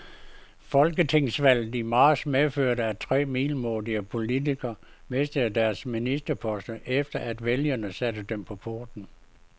Folketingsvalget i marts medførte, at tre middelmådige politikere mistede deres ministerposter, efter at vælgerne satte dem på porten.